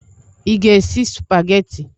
Ị ga-esi sụpagheti?